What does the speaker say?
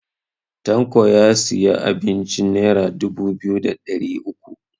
Tanko ya siya abincin nera dubu biyu da ɗari uku